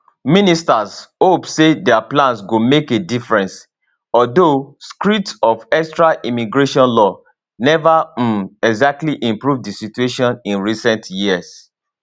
ministers hope say dia plans go make a difference although screeds of extra immigration law neva um exactly improve di situation in recent years